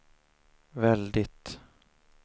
väldigt